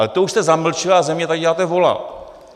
Ale to už jste zamlčel a ze mě tady děláte vola!